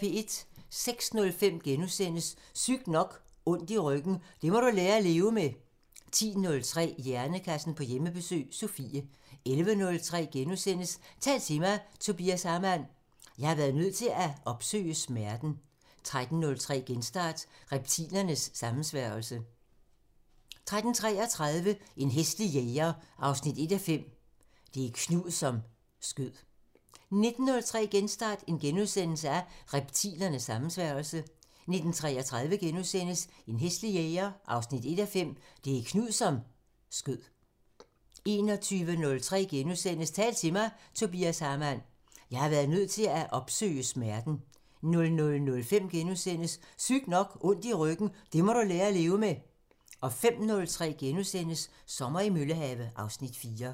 06:05: Sygt nok: Ondt i ryggen – det må du lære at leve med * 10:03: Hjernekassen på Hjemmebesøg – Sofie 11:03: Tal til mig – Tobias Hamann: "Jeg har været nødt til at opsøge smerten" 13:03: Genstart: Reptilernes sammensværgelse 13:33: En hæslig jæger 1:5 – Det er Knud, som skød 19:03: Genstart: Reptilernes sammensværgelse * 19:33: En hæslig jæger 1:5 – Det er Knud, som skød * 21:03: Tal til mig – Tobias Hamann: "Jeg har været nødt til at opsøge smerten" * 00:05: Sygt nok: Ondt i ryggen – det må du lære at leve med * 05:03: Sommer i Møllehave (Afs. 4)*